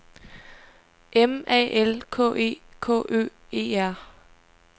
M A L K E K Ø E R